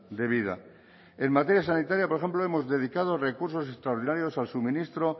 de vida en materia sanitaria por ejemplo hemos dedicado recursos extraordinarios al suministro